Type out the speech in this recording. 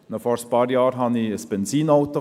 Noch vor ein paar Jahren hatte ich ein Benzinauto.